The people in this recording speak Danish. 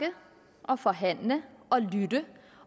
og forhandler og lytter